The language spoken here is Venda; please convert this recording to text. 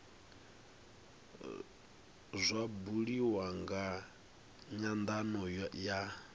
zwa buliwa nga nyandano ya